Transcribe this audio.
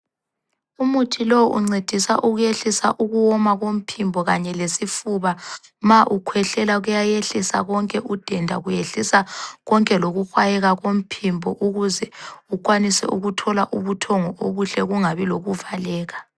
Umuthi lo uncedisa ukwehlisa ukuwoma komphimbo kanye lesifuba, ma ukhwehlela kuyayehlisa konke udenda, kuyehlisa konke lokuhwayeka komphimbo ukuze ukwanise ukuthola ubuthongo obuhle kungabi lokuvaleka.